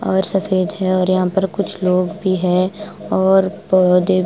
और सफेद है और यहां पर कुछ लोग भी है और पौ--